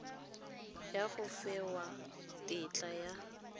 ya go fiwa tetla ya